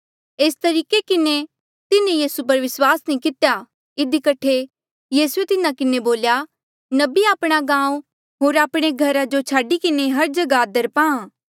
एस तरीके किन्हें तिन्हें यीसू पर विस्वास नी कितेया इधी कठे यीसूए तिन्हा किन्हें बोल्या नबी आपणा गांऊँ आपणे घरा जो छाडी किन्हें हर जगहा आदर पांहा